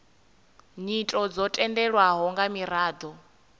nyito dzo tendelwaho nga miraḓo